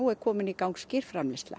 er komin í gang